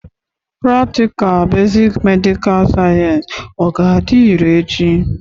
Pratịkal besik medikal sayensị ọ ga-adị irè echi?